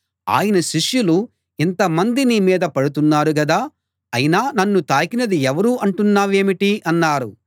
ఆయన శిష్యులు ఇంతమంది నీ మీద పడుతున్నారు గదా అయినా నన్ను తాకినది ఎవరు అంటున్నావేమిటి అన్నారు